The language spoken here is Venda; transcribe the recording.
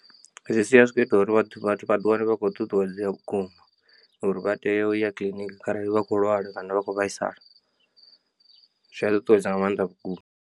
Zwi sia zwi kho ita uri vhathu vhathu vha ḓiwane vha khou ṱuṱuwedzea vhukuma uri vha tea u ya kiḽiniki kharali vha khou lwala kana vha kho vhaisala zwi a ṱuṱuwedza nga maanḓa vhukuma.